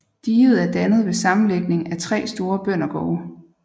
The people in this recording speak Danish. Diget er dannet ved sammenlægning af 3 store bøndergårde